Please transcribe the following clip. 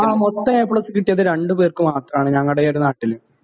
ങാ, മൊത്തം A plus കിട്ടിയത് രണ്ടുപേർക്ക് മാത്രമാണ് ഞങ്ങടെ ഈയൊരു നാട്ടില്.